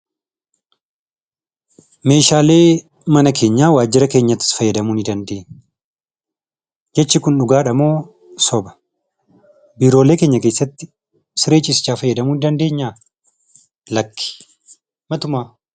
Meeshaalee mana keenyaa, waajira keenya keessatti itti fayyadamuu ni dandeenya. Jechi Kun dhugaadha moo soba? Biiroolee keenya keessatti siree ciisichaa fayyadamuu ni dandeenya? Lakki matumaa